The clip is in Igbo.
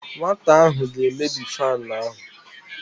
Nwata ahụ ga-emebi fanụ ahụ.